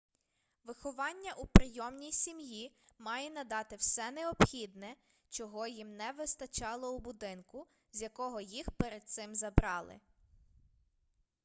виховання у прийомній сім'ї має надати все необхідне чого їм не вистачало у будинку з якого їх перед цим забрали